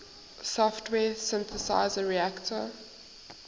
software synthesizer reaktor